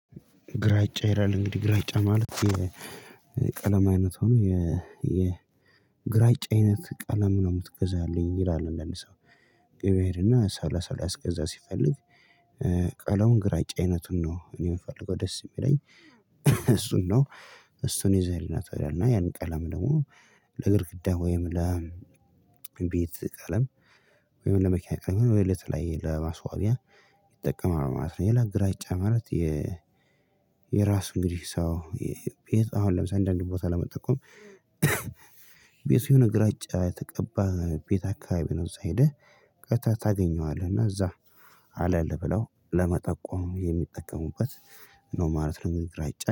ግራጫ ይላል እንግዲህ ግራጫ ማለት የቀለም አይነት ሆኖ የ የግራጫ አይነት ቀለም ነው የምትገዛልኝ የሚል አንዳንድ ሰው። ገበያ ይሄድና ሰላሳ ሊያስገዛ ሲፈልግ። ግራጫ አይነቱን ነው እኔ የምፈልገው ደስ የሚለኝ። እሱን ነው። እሱን ይዘህልኝ ናቶሎ ይል እና ያን ቀለም ደግሞ ለግድግዳ ወይም ለቤት ቀለም። ወይም ለመኪና ቀለም ወይም ለተለያየ ለማስዋቢያ ይጠቀማል ማለት ነው። ሌላ ግራጫ ማለት የ የራሱን እንግዲህ ሰው የቤት አሁን ለምሳሌ አንዳንድ ቦታ ለመጠቆም። ቤቱ የሆነ ግራጫ የተቀባ ቤት አካባቢ ነው። እዛ ሄደህ ቀጥታ ታገኘዋለህ እና እዛ አለልህ ብለው ለመጠቆም የሚጠቀሙበት ነው ማለት ነው። እንግዲህ ግራጫ